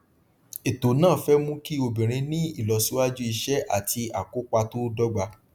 ètò náà fẹ mú kí obìnrin ní ìlọsíwájú iṣẹ àti àkópa tó dọgba